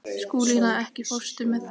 Skúlína, ekki fórstu með þeim?